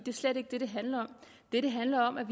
slet ikke det det handler om det det handler om er